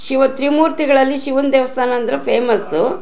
ಶಿವ ತ್ರಿಮೂರ್ತಿಗಲ್ಲಲ್ಲಿ ಶಿವನ್ ದೇವಸ್ಥಾನ ಅಂದ್ರೆ ಫಾಮಸ್ಸು .